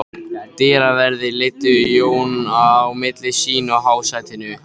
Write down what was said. Dyraverðir leiddu Jón á milli sín að hásætinu.